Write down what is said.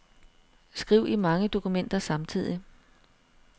Skriv i mange dokumenter samtidig.